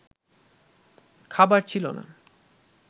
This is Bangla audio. খাবার ছিল না